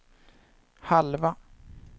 halva